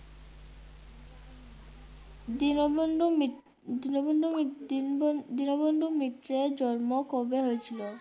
দীনবন্ধু মিত- দীনবন্ধু মিত-দীনবন- দীনবন্ধু মিত্রের জন্ম কবে হয়েছিল?